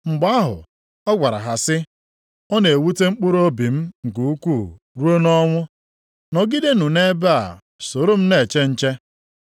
Mgbe ahụ ọ gwara ha sị, “Ọ na-ewute mkpụrụobi m nke ukwuu ruo nʼọnụ ọnwụ. Nọgidenụ nʼebe a soro m na-eche nche.”